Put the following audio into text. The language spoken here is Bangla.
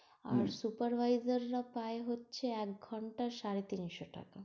আবার supervisor রা পায় হচ্ছে এক ঘন্টায় সাড়ে তিনশো টাকা।